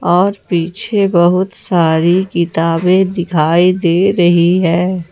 और पीछे बहुत सारी किताबें दिखाई दे रही है ।